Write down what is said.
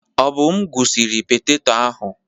Obum gwụsiri petetọ ahụ.